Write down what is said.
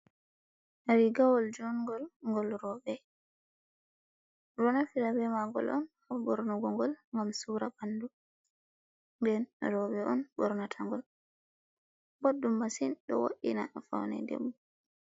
Rigawol judngol ngol roɓe, ɓeɗo naftira be magol on ha ɓornugo ngol ngam sura bandu, nden roɓe on ɓornata ngol, boɗdum masin ɗo wodina a faune debbo.